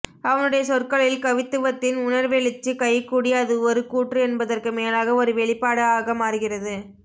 அவனுடைய சொற்களில் கவித்துவத்தின் உணர்வெழுச்சி கைகூடி அது ஒரு கூற்று என்பதற்கு மேலாக ஒரு வெளிப்பாடு ஆக மாறுகிறது